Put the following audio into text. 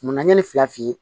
Munna ɲani fila f'i ye